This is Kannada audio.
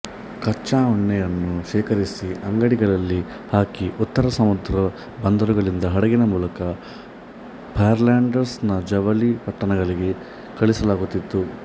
ಕಚ್ಚಾ ಉಣ್ಣೆಯನ್ನು ಶೇಖರಿಸಿ ಅಂಡಿಗೆಗಳಲ್ಲಿ ಹಾಕಿ ಉತ್ತರ ಸಮುದ್ರ ಬಂದರುಗಳಿಂದ ಹಡಗಿನ ಮೂಲಕ ಫ್ಲ್ಯಾಂಡರ್ಸ್ ನ ಜವಳಿ ಪಟ್ಟಣಗಳಿಗೆ ಕಳಿಸಲಾಗುತಿತ್ತು